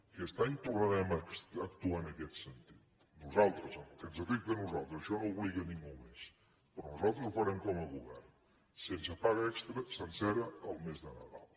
aquest any tornarem a actuar en aquest sentit nosaltres en el que ens afecta a nosaltres això no obliga a ningú més però nosaltres ho farem com a govern sense paga extra sencera el mes de nadal